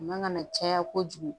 Man ka na caya kojugu